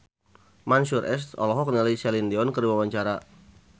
Mansyur S olohok ningali Celine Dion keur diwawancara